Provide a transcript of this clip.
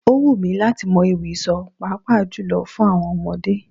Ó wù mí láti mọ ewì sọ, pàápàá jùlọ fún àwọn ọmọdé.